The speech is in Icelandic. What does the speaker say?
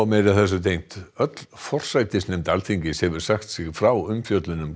meira þessu tengt öll forsætisnefnd Alþingis hefur sagt sig frá umfjöllun um